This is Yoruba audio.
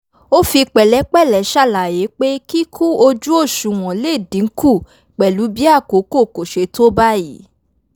ó fi pẹ̀lẹ́pẹ̀lẹ́ ṣàlàyé pé kíkú ojú òṣùwọ̀n lè dínkù pẹ̀lú bí àkókò kò ṣe tó báyìí